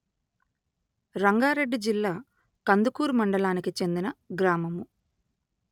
రంగారెడ్డి జిల్లా కందుకూరు మండలానికి చెందిన గ్రామము